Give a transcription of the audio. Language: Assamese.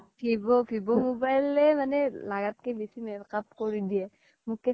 vivo, vivo mobile য়ে লাগাত কে বেচি makeup কৰি দিয়ে মুখ্কেইখন